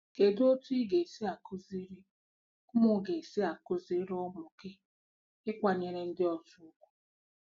Kedu otú ị ga-esi akụziri ụmụ ga-esi akụziri ụmụ gị ịkwanyere ndị ọzọ ùgwù